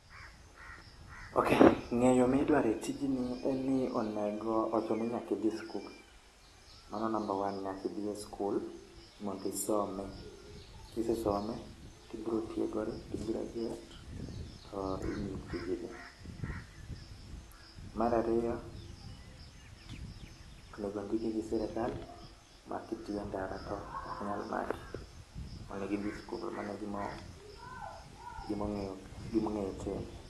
Ok, ngeyo midwaro e tijni en ni onego ochunoni nyaka idhi e skul, mano namba one, nyaka e idhi e skul mondo isome, kisesome tibo dhie college ti graduate timiyi tijni. Mar ariyo onego ondiki gi sirkal makitie ndara to ok nyal maki. Onego idhi e skul, mano e gima ongeo, gima onego itim